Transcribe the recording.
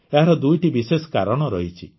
ଏହାର ଦୁଇଟି ବିଶେଷ କାରଣ ରହିଛି